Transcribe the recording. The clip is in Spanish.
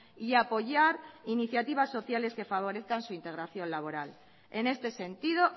y a apoyar iniciativas sociales que favorezcan su integración laboral en este sentido